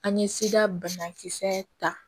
An ye seda banakisɛ ta